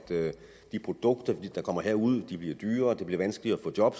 de produkter der kommer derud bliver dyrere og at det bliver vanskeligere at få et job